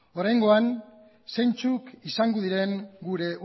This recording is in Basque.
oraingoan zeintzuk izango diren gure